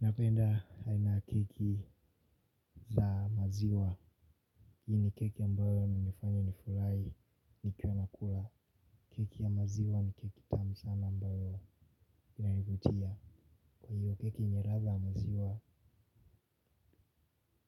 Napenda aina ya keki za maziwa. Hii ni keki ambayo huni fanya nifurahi ni ka nakula. Keki ya maziwa ni keki tamu sana ambayo inayovutia. Kwa hiyo keki ni latha ya maziwa.